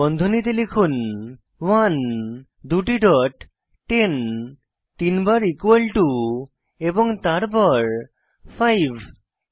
বন্ধনীতে লিখুন 1 দুটি ডট 10 তিন বার ইকুয়াল টু এবং তারপর 5